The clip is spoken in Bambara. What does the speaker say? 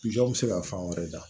Ɲɔ bi se ka fan wɛrɛ da